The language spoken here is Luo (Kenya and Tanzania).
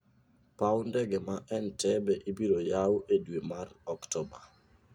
Paw ndege ma Entebbe ibiro yaw e dwe mar Oktoba.